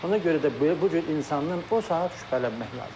Ona görə də bu cür insandan o saat şübhələnmək lazımdır.